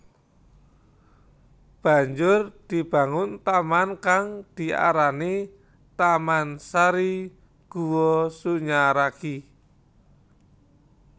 Banjur dibangun taman kang diarani Taman Sari Guwa Sunyaragi